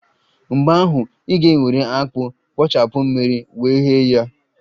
Mgbe ahụ, ị ga-egweri akpu, kpochapụ mmiri wee ghee ya